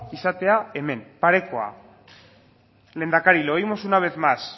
izatea hemen parekoa lehendakari lo oímos una vez más